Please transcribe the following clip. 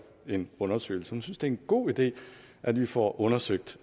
en undersøgelse hun synes det er en god idé at vi får undersøgt